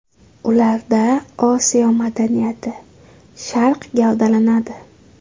Ularda Osiyo madaniyati, Sharq gavdalanadi.